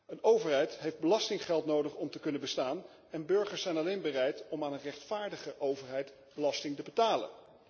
Een overheid heeft belastinggeld nodig om te kunnen bestaan en burgers zijn alleen bereid om aan een rechtvaardige overheid belasting te betalen.